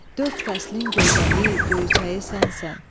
Dörd fəslin gözəli, göyçəyi sənsən.